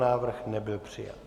Návrh nebyl přijat.